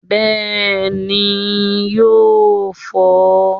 Bééni yóó fọ́n.